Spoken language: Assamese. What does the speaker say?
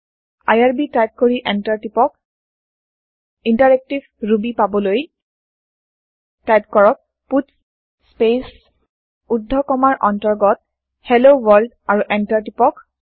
আইআৰবি টাইপ কৰি এন্টাৰ টিপক ইণ্টাৰেক্টিভ ৰুবি পাবলৈ টাইপ কৰক পাটছ স্পেচ ঊৰ্ধ কমাৰ অন্তৰ্গত হেল্ল ৱৰ্ল্ড আৰু এন্টাৰ টিপক